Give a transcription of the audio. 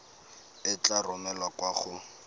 e tla romelwa kwa go